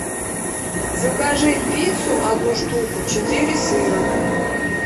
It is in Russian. закажи пиццу одну штуку четыре сыра